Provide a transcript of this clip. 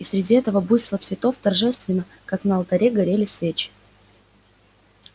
и среди этого буйства цветов торжественно как на алтаре горели свечи